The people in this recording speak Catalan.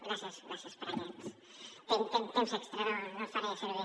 gràcies gràcies per aquest temps extra no el faré servir